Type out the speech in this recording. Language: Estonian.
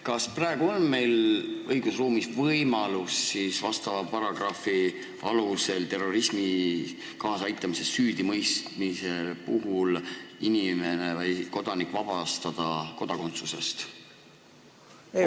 Kas praegu on meie õigusruumis võimalik vastava paragrahvi alusel inimene või kodanik terrorismile kaasaaitamises süüdimõistmise korral kodakondsusest vabastada?